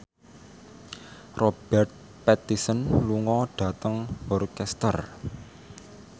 Robert Pattinson lunga dhateng Worcester